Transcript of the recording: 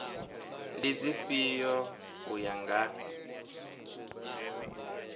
ndi dzifhio u ya nga